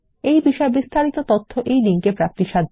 এই বিষয় বিস্তারিত তথ্য এই লিঙ্ক এ প্রাপ্তিসাধ্য